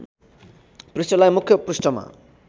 पृष्ठलाई मुख्य पृष्ठमा